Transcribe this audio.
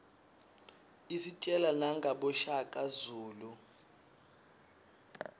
isitjela nangaboshaka zulu